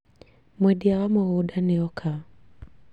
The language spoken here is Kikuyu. Mwendia wa mũgũnda nĩoka